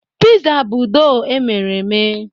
Pịza bụ dọọ emere eme.